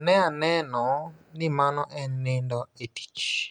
Ne aneno ni mano en nindo e tich.